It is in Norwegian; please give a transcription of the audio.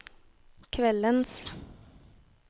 kveldens